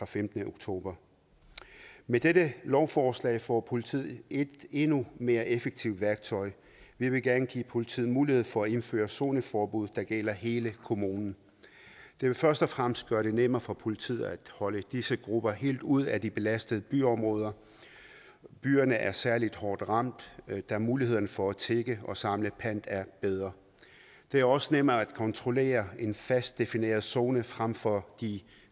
femtende oktober med dette lovforslag får politiet et endnu mere effektivt værktøj vi vil gerne give politiet mulighed for at indføre zoneforbud der gælder i hele kommunen det vil først og fremmest gøre det nemmere for politiet at holde disse grupper helt ude af de belastede byområder byerne er særlig hårdt ramt da mulighederne for at tigge og samle pant er bedre det er også nemmere at kontrollere en fast defineret zone frem for de